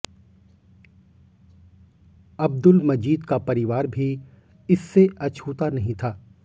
अब्दुल मजीद का परिवार भी इससे अछूता नहीं था